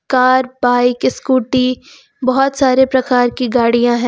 Car bike scooty बहुत सारे प्रकार की गाड़ियां हैं।